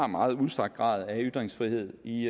meget udstrakt grad af ytringsfrihed i